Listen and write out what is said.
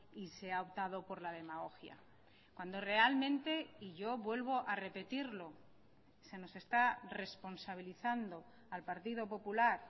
y se ha optado por la demagogia cuando realmente y yo vuelvo a repetirlo se nos está responsabilizando al partido popular